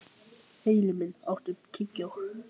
Himinbjörg, áttu tyggjó?